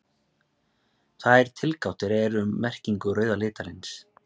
tvær tilgátur eru um merkingu rauða litarins